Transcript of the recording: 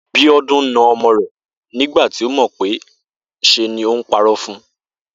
Bíó̩dún na o̩mo̩ rè̩ nígbà tí ó mò̩ pé s̩e ni o̩mo̩ náà ń paró̩ fun